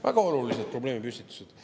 Väga olulised probleemipüstitused.